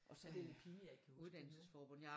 Ej det er pinligt jeg ikke kan huske det nu